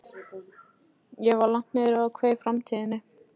Ég var langt niðri og kveið framtíðinni.